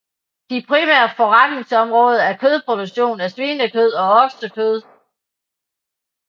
De primære forretningsområder er kødproduktion af svinekød og oksekød